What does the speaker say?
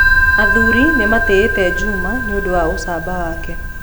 Athuri nĩ maatĩĩte Juma nĩ ũndũ wa ũcamba wake.